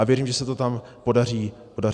A věřím, že se to tam podaří dodat.